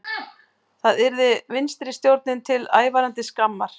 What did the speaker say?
Það yrði vinstristjórninni til ævarandi skammar